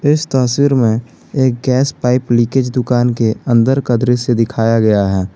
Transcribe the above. इस तस्वीर में एक गैस पाइप लीकेज दुकान के अंदर का दृश्य दिखाया गया है।